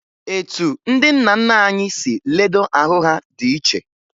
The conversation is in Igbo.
Etu ndị nna nna anyị si ledo ahụ ha dị iche